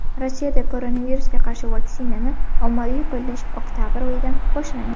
Rossiyada koronavirusga qarshi vaksinani ommaviy qo‘llash oktabr oyidan boshlanadi.